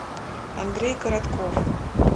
андрей коротков